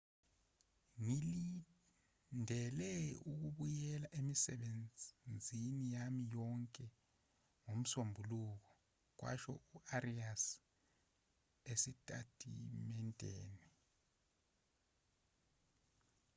ngilindele ukubuyela emisebenzini yami yonke ngomsombuluko kwasho u-arias esitatimendeni